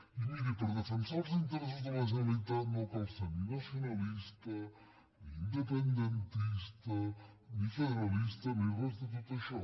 i mirin per defensar els interessos de la generalitat no cal ser ni nacionalista ni independentista ni federalista ni res de tot això